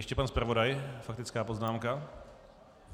Ještě pan zpravodaj - faktická poznámka.